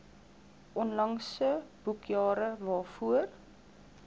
onlangse boekjare waarvoor